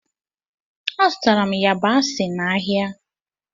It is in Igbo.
Azụtara m yabasị n'ahịa.